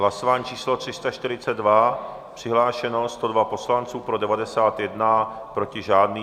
Hlasování číslo 342, přihlášeno 102 poslanců, pro 91, proti žádný.